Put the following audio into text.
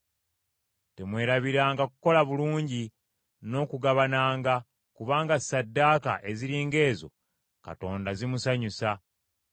Temwerabiranga kukola bulungi n’okugabananga; kubanga ssaddaaka eziri ng’ezo Katonda zimusanyusa.